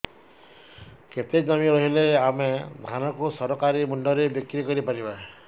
କେତେ ଜମି ରହିଲେ ଆମେ ଧାନ କୁ ସରକାରୀ ମୂଲ୍ଯରେ ବିକ୍ରି କରିପାରିବା